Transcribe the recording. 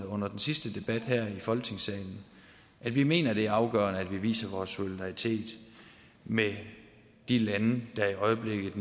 under den sidste debat her i folketingssalen at vi mener det er afgørende at vi viser vores solidaritet med de lande der i øjeblikket